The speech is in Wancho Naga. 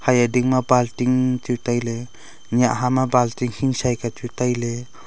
eye ding ma balting chu tailey nyiah ha ma balting hingshai ka chu tailey.